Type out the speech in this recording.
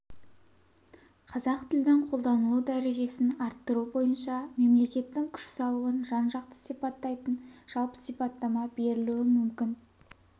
қазақ тілінің қолданылу дәрежесін арттыру бойынша мемлекеттің күш салуын жан-жақты сипаттайтын жалпы сипаттама берілуі мүмкін